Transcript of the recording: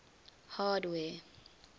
hardware